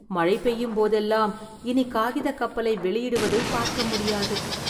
மழை பெய்யும் போதெல்லாம் இனி காகிதக் கப்பலை வெளியிடுவதைப் பார்க்க முடியாது